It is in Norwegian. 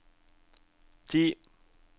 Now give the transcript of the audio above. ti